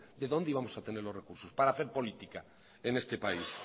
de dónde íbamos a tener los recursos para hacer política en este país